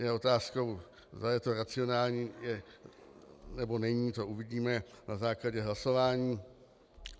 Je otázkou, zda je to racionální, nebo není, to uvidíme na základě hlasování.